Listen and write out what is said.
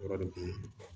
Yɔrɔ de